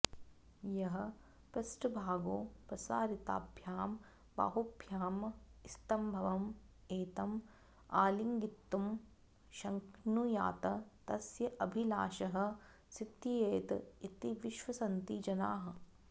यः पृष्ठभागो प्रसारिताभ्यां बाहुभ्यां स्तम्भम् एतम् आलिङ्गितुं शक्नुयात् तस्य अभिलाषः सिद्धयेत् इति विश्वसन्ति जनाः